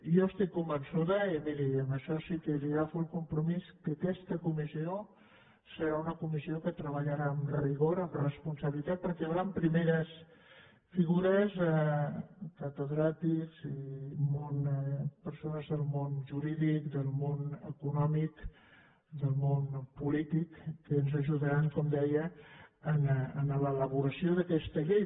jo estic convençuda i miri en això sí que li agafo el compromís que aquesta comissió serà una comissió que treballarà amb rigor amb responsabilitat perquè hi hauran primeres figures catedràtics i persones del món jurídic del món econòmic del món polític que ens ajudaran com deia en l’elaboració d’aquesta llei